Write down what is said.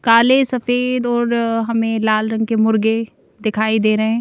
काले सफेद और हमें लाल रंग के मुर्गे दिखाई दे रहे हैं।